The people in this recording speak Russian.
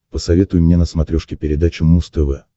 посоветуй мне на смотрешке передачу муз тв